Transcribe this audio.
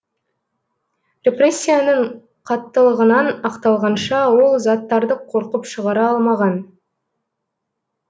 репрессияның қаттылығынан ақталғанша ол заттарды қорқып шығара алмаған